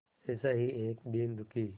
ऐसा ही एक दीन दुखी